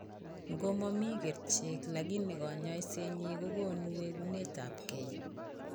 ng'o momi kerichek lakini kanyaiset nyin kagonu wegunet ab gee